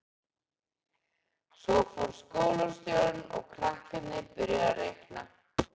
Svo fór skólastjórinn og krakkarnir byrjuðu að reikna.